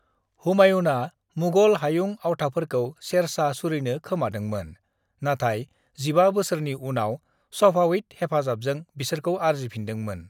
"हुमायूनआ मुगल हायुं आवथाफोरखौ शेर शाह सूरीनो खोमादोंमोन, नाथाय 15 बोसोरनि उनाव सफाविद हेफाजाबजों बिसोरखौ आरजिफिनदोंमोन।"